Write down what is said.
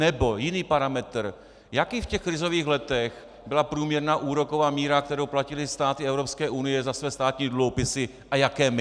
Nebo jiný parametr: jaká v těch krizových letech byla průměrná úroková míra, kterou platily státy Evropské unie za své státní dluhopisy, a jaké my?